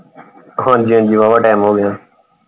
ਹਾਂਜੀ ਹਾਂਜੀ ਵਾਵਾ time ਹੋ ਗਿਆ।